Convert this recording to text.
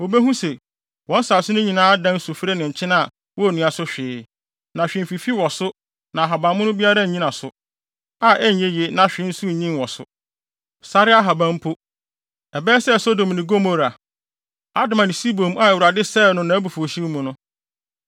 Wobehu sɛ, wɔn asase no nyinaa adan sufre ne nkyene a wonnua so hwee, na hwee mfifi wɔ so na ahabammono biara nnyina so, a ɛnyɛ yiye na hwee nso nnyin wɔ so; sare ahaban mpo. Ɛbɛyɛ sɛ Sodom ne Gomora, Adma ne Seboim a Awurade sɛee no nʼabufuwhyew mu no.